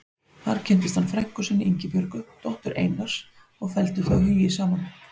Þar kynntist hann frænku sinni, Ingibjörgu, dóttur Einars og felldu þau hugi saman.